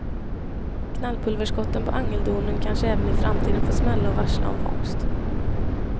Knallpulverskotten på angeldonen kanske även i framtiden får smälla och varsla om fångst.